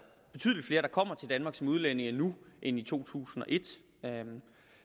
betydelig flere der kommer til danmark som udlændinge nu end i to tusind og et